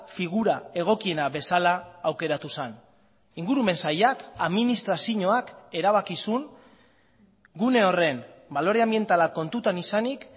figura egokiena bezala aukeratu zen ingurumen sailak administrazioak erabaki zuen gunehorren balore anbientala kontutan izanik